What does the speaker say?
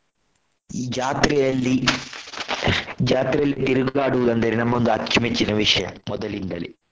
ಈ ಜಾತ್ರೆಯಲ್ಲಿ ಜಾತ್ರೆಯಲ್ಲಿ ತಿರುಗಾಡುವುದು ಅಂದರೆ ನಮ್ಮೊಂದು ಅಚ್ಚು ಮೆಚ್ಚಿನ ವಿಷಯ ಮೊದಲಿಂದಲೇ.